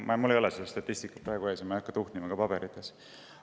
Mul ei ole seda statistikat praegu ees ja ma ei hakka paberites tuhnima.